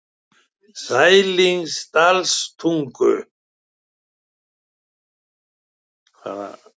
Sælingsdalstungu